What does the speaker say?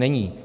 Není.